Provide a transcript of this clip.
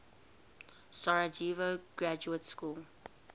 sarajevo graduate school